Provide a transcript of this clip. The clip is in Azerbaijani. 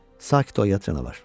Sakit ol, yad canavar.